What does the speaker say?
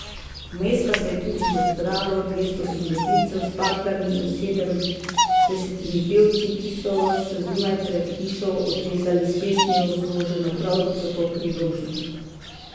Vmes pa se je tudi že zbralo dvesto gimnazijcev z baklami in sedemdesetimi pevci, ki so se zunaj pred hišo odrezali s pesmijo zloženo prav za to priložnost.